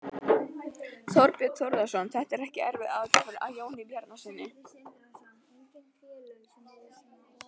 Þorbjörn Þórðarson: Þetta er ekki aðför að Jóni Bjarnasyni?